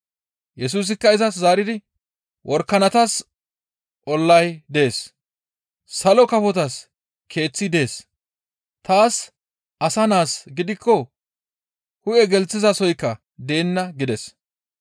Yesusikka izas zaaridi, «Worakanatas ollay dees; salo kafotas keeththi dees; taas Asa Naas gidikko hu7e gelththizasoykka deenna» gides.